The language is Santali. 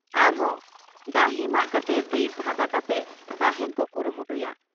ᱟᱨᱦᱚᱸ ᱰᱟᱹᱦᱤᱢᱟᱜ ᱠᱟᱛᱮ ᱵᱤᱨ ᱯᱷᱟᱫᱟ ᱠᱟᱛᱮ ᱛᱟᱦᱮᱸᱱ ᱠᱚ ᱠᱩᱨᱩᱢᱩᱴᱩᱭᱟ ᱾